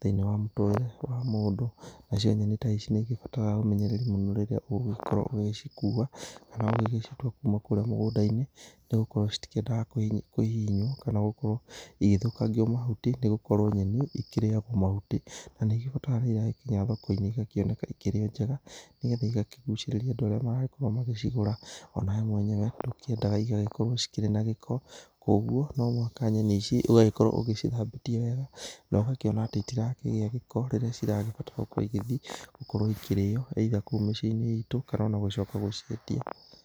thĩiniĩ wa mũtũrĩre wa mũndũ. Nacio nyenĩ ta ici nĩ ĩgĩbataraga ũmenyererĩ mũno rĩrĩa ũgũkorwo ũgĩcikua, kana ũgĩgĩcitua kuma kũrĩa mũgũnda-inĩ nĩgũkorwo citikĩendaga kũhihinywo, kana gũkorwo ĩgĩthũkangio mahuti nĩgũkorwo nyenĩ ĩkĩrĩyagwo mahutĩ. Na nĩ ĩgĩbataraga rĩrĩa ĩragĩkinya thoko-inĩ ĩgakĩoneka ĩkĩrĩ njega, nĩgetha ĩgakĩgucĩrĩria andũ arĩa maragĩkorwo magĩcigũra ona we mwenyewe nĩ ũkĩendaga ĩtigagĩkorwo ĩkĩrĩ na gĩko, koguo no mũhaka nyenĩ ici ũgagĩkorwo ũgĩcithambĩtie wega, no gakĩona atĩ citirakĩgĩa gĩko rĩrĩa cirabatara gũkorwo ĩgĩthĩ, gũkorwo ĩkĩrĩyo either kũu mĩcĩ-inĩ ĩtũ, kana ona gũcoka gũciendia.